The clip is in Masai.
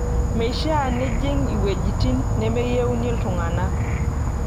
Meishaa nijing' wuejitin nemeyieuni iltung'ana.